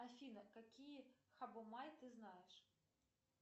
афина какие хабомаи ты знаешь